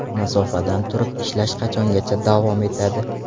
Masofadan turib ishlash qachongacha davom etadi?